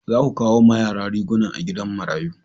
Za ku kai ma yara riguna a gidan marayu